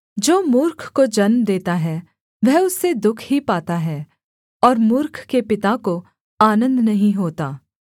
जो मूर्ख को जन्म देता है वह उससे दुःख ही पाता है और मूर्ख के पिता को आनन्द नहीं होता